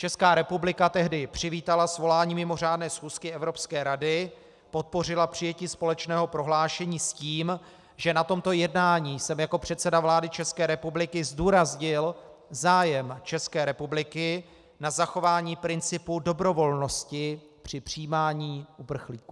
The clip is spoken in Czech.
Česká republika tehdy přivítala svolání mimořádné schůzky Evropské rady, podpořila přijetí společného prohlášení s tím, že na tomto jednání jsem jako předseda vlády České republiky zdůraznil zájem České republiky na zachování principu dobrovolnosti při přijímání uprchlíků.